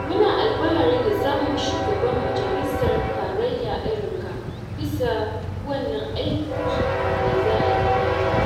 Muna alfahari da samun shugaban majalisar tarayya irin ka bisa wannan aiki da za a yi mana.